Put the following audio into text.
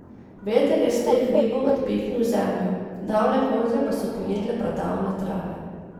Veter je s teh hribov odpihnil zemljo, davne koze pa so pojedle pradavne trave.